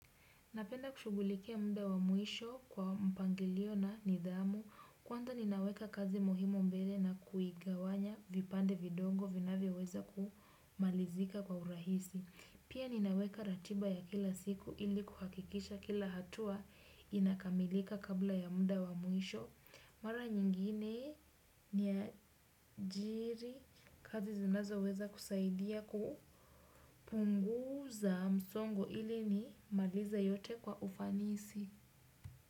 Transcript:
Napenda kushugulikia mda wa mwisho kwa mpangilio na nidhamu. Kwanza ninaweka kazi muhimu mbele na kuigawanya vipande vidongo vinavyoweza kumalizika kwa urahisi. Pia ninaweka ratiba ya kila siku ili kuhakikisha kila hatua inakamilika kabla ya mda wa mwisho. Mara nyingine ni ajiri kazi zinazoweza kusaidia kupunguza msongo ili nimalize yote kwa ufanisi.